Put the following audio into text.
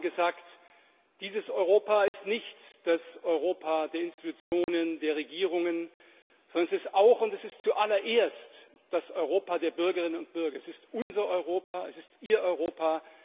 Wir haben gesagt Dieses Europa ist nicht das Europa der Institutionen, der Regierungen, sondern es ist auch und zuallererst das Europa der Bürgerinnen und Bürger. Es ist unser Europa, es ist Ihr Europa.